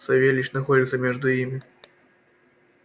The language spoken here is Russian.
савельич находился между ими